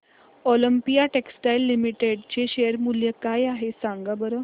Olympia textiles limited चे share मूल्य काय आहे सांगा बरं